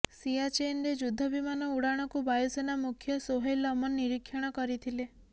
ସିଆଚେନରେ ଯୁଦ୍ଧ ବିମାନ ଉଡାଣକୁ ବାୟୁସେନା ମୁଖ୍ୟ ସୋହେଲ ଅମନ ନିରୀକ୍ଷଣ କରିଥିଲେ